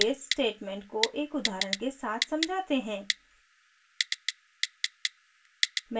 case statement को एक उदाहरण के साथ समझाते हैं